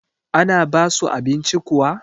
ana basu abinci kuwa?